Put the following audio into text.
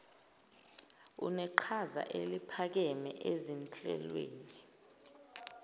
uneqhaza eliphakeme ezinhlelweni